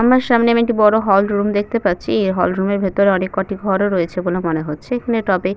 আমার সামনে আমি একটি বড় হল রুম দেখতে পাচ্ছি। এই হল রুম -এর ভেতরে অনেককটি ঘর ও রয়েছে বলে মনে হচ্ছে এখানে টবে--